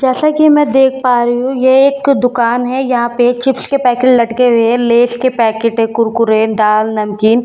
जैसा कि मैं देख पा रही हूँ यह एक क दुकान है यहां पे चिप्स के पैकेट लटके हुए है लेज़ के पैकेट है कुरकुरे दाल नमकीन